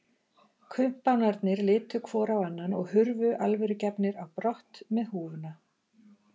Kumpánarnir litu hvor á annan og hurfu alvörugefnir á brott með húfuna.